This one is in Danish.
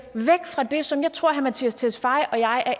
væk fra det som jeg tror herre mattias tesfaye og jeg er